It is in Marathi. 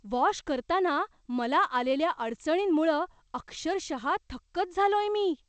वॉश करताना मला आलेल्या अडचणींमुळं अक्षरशः थक्कच झालोय मी!